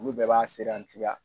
Olu bɛɛ b'a serantiya.